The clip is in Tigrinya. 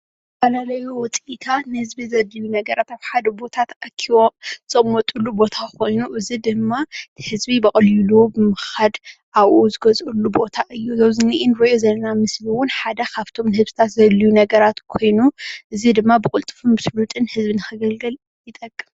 እዚ ዝረኣ ዘሎ ምስሊ ኣብ ንህዝቢ ዘድልዩ ኣብ ሓደ ቦታ ተኣኪቦም ዝቅመጥሉ በቦታ እዚ ድማ ህዝቢ ብቀሊሉ ብምካድ ዝገዝእሉ ቦታ እዩ እውን ሓደ ካብቶም ዘድልዩ ነገራት ኮይኑ እዚ ድማ ብጭብጥን ክብርን ንከገልግል ይጠቅም ፡፡